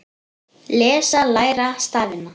Lesa- læra stafina